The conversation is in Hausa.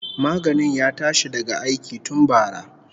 Maganin ya tashi daga aiki tun bara